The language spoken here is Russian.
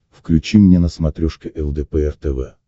включи мне на смотрешке лдпр тв